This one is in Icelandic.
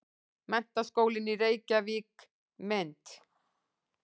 Menntaskólinn í Reykjavík- mynd.